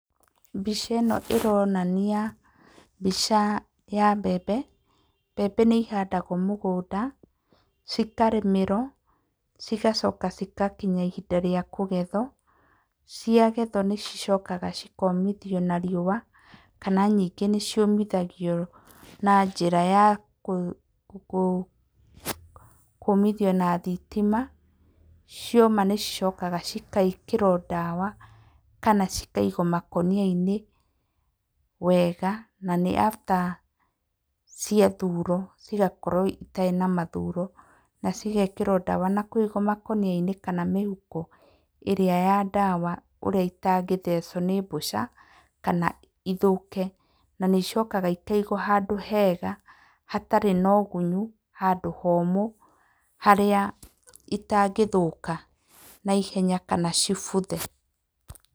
Mbica ĩno ĩronania mbica ya mbembe, mbembe nĩ ihandagwo mũgũnda, cikarĩmĩrwo, cigacoka cigakinya ihinda rĩa kũgethwo. Ciagethwo nĩ cicokaga cikomithio na riũa, kana nyingĩ nĩ ciũmithagio na njĩra ya kũmithio na thitima, cioma nĩ cicokaga cigekĩrwo ndawa, kana cikaigwo makũnia-inĩ wega na nĩ after ciathurwo cigakorwo citarĩ na mathuro, na cigekĩrwo ndawa na kũigwo makũnia-inĩ kana mĩhuko ĩrĩa ya ndawa, ũrĩa itangĩthecwo nĩ mbũca kana ithũke. Na nĩ icokaga ikaigwo handũ hega, hatarĩ na ũgunyu, handũ homũ harĩa itangĩthũka na ihenya kana cibuthe.